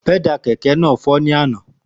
Pẹ́dà kẹ̀kẹ́ náà fọ́ ní àná